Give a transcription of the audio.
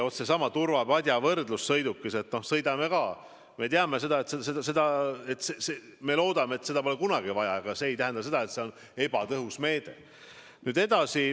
Vaat, seesama võrdlus turvapadjaga: me loodame, et seda ei lähe kunagi vaja, aga see ei tähenda, et see on ebatõhus meede.